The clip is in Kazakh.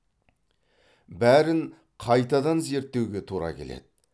бәрін қайтадан зерттеуге тура келеді